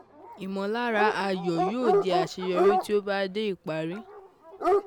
Ìmọ̀lára ayọ̀ yóò di àṣeyọrí tí o bá dé ìparí